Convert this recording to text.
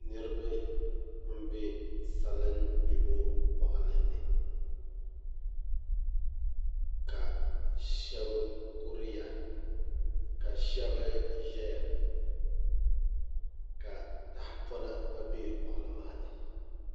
Niraba n bɛ salin gbibo boɣali ni ka shab kuriya ka shab ʒɛya ka tahapona gba bɛ boɣali maa ni